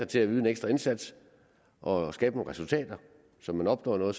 til at yde en ekstra indsats og skabe nogle resultater så man opnår noget og